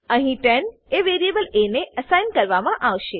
અહી 10 એ વેરીએબલ એ ને અસાઇન કરવામા આવશે